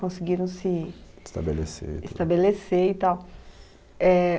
Conseguiram se estabelecer e tal é